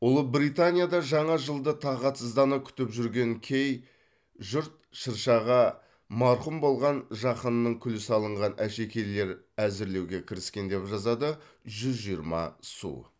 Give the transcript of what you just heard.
ұлыбританияда жаңа жылды тағатсыздана күтіп жүрген кей жұрт шыршаға марқұм болған жақынының күлі салынған әшекейлер әзірлеуге кіріскен деп жазады жүз жиырма су